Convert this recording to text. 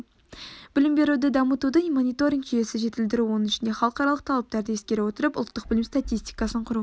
білім беруді дамытудың мониторинг жүйесін жетілдіру оның ішінде халықаралық талаптарды ескере отырып ұлттық білім статистикасын құру